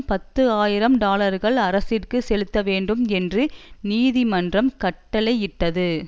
பத்து ஆயிரம் டாலர்கள் அரசிற்கு செலுத்தவேண்டும் என்று நீதிமன்றம் கட்டளையிட்டது